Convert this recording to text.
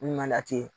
Mun na ten